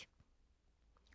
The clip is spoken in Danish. TV 2